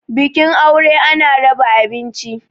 bikin aure ana raba abinci